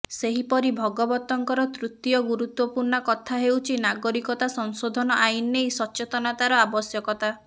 ସେହିପରି ଭଗବତଙ୍କର ତୃତୀୟ ଗୁରୁତ୍ୱପୂର୍ଣ୍ଣ କଥା ହେଉଛି ନାଗରିକତା ସଂଶୋଧନ ଆଇନ ନେଇ ସଚେତନତାର ଆବଶ୍ୟକତା